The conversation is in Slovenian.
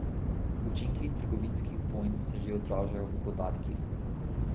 Učinki trgovinskih vojn se že odražajo v podatkih.